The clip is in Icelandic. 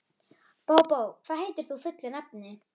Bóbó, hvað heitir þú fullu nafni?